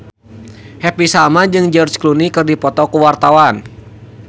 Happy Salma jeung George Clooney keur dipoto ku wartawan